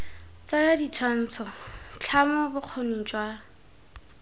tsaya ditshwantsho tlhamo bokgoni jwa